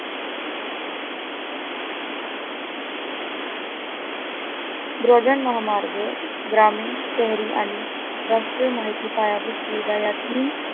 broadband महामार्ग, ग्रामीण शहरी आणि राष्ट्रीय माहिती पायाभूत सुविधा यातील